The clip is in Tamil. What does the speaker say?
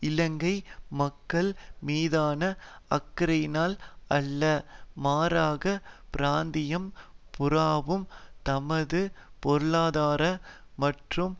இலங்கை மக்கள் மீதான அக்கறையினால் அல்ல மாறாக பிராந்தியம் பூராவும் தமது பொருளாதார மற்றும்